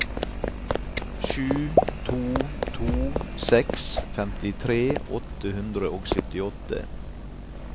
sju to to seks femtitre åtte hundre og syttiåtte